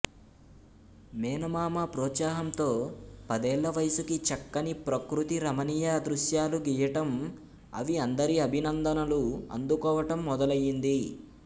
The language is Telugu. మేనమామ ప్రోత్సాహంతో పదేళ్ళవయసుకి చక్కని ప్రకృతి రమణీయ దృశ్యాలు గీయటం అవి అందరి అభినందనలు అందుకోవటం మొదలయింది